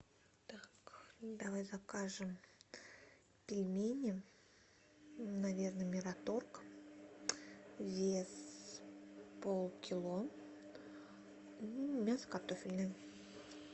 так давай закажем пельмени наверное мираторг вес полкило мясо картофельное